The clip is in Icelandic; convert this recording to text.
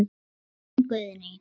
Þín Guðný.